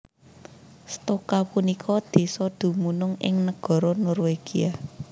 Stokka punika désa dumunung ing nagara Norwegia